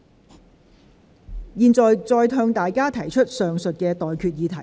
我現在向各位提出上述待決議題。